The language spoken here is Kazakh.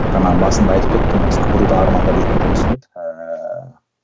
жаңа басында айтып кеттім ғой осы кбту да армандап жүрген жұмысым еді ііі